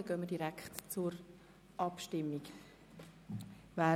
Dann gehen wir direkt zur Abstimmung über.